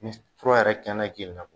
Ni fura yɛrɛ kɛnɛ jenina